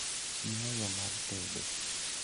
Mia yoo mar tedo